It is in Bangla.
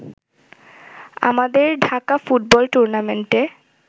আমাদের ঢাকা ফুটবল টুর্নামেন্টে